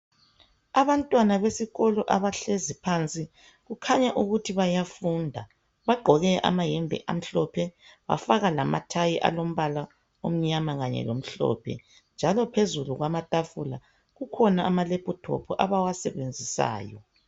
Abantwana besikolo abahlezi phansi kukhanya ukuthi bayafunda bagqoke amayembe amhlophe bafaka lamathayi alombala omnyama kanye lomhloohe njalo phezulu kwamatafula kukhona amalephuthophu abawasebenzisayo.